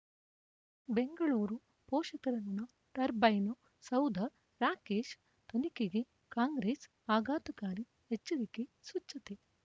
ಬೆಂಗಳೂರು ಪೋಷಕರಋಣ ಟರ್ಬೈನು ಸೌಧ ರಾಕೇಶ್ ತನಿಖೆಗೆ ಕಾಂಗ್ರೆಸ್ ಆಘಾತಕಾರಿ ಎಚ್ಚರಿಕೆ ಸ್ವಚ್ಛತೆ